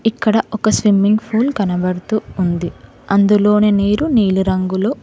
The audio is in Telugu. ఇక్కడ ఒక స్విమ్మింగ్ పూల్ కనబడుతూ ఉంది అందులోని నీరు నీలిరంగులో--